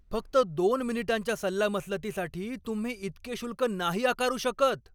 फक्त दोन मिनिटांच्या सल्लामसलतीसाठी तुम्ही इतके शुल्क नाही आकारू शकत!